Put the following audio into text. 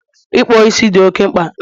Ikpo isi dị oke mkpa